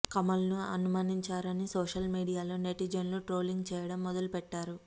కమల్ను అవమానించారని సోషల్ మీడియాలో నెటిజన్లు ట్రోలింగ్ చేయడం మొదలు పెట్టారు